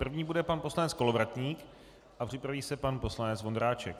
První bude pan poslanec Kolovratník a připraví se pan poslanec Vondráček.